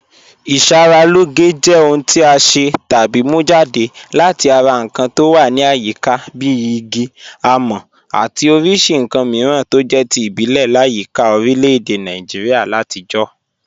Ìṣàralọ́gẹ̀ jẹ́ ọ̀hùn tí a ṣẹ́ tàbí mú jadẹ̀ láti ara nkàn tó wà ní àyíká bí ìgí, àmọ̀ àti oríṣì nkàn míràn tó jẹ̀ tí ìbílẹ̀ làyíkà orílẹ̀-èdè Nàìjíríà làtijọ̀.